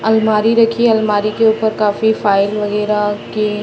अलमारी रखी है अलमारी के ऊपर काफी फाइल वगैरा के --